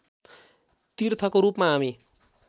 तीर्थको रूपमा हामी